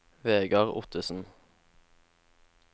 Vegar Ottesen